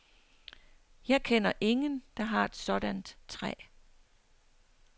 Jeg kender ingen, der har et sådant træ.